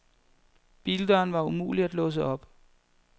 Bildøren var umulig at låse op.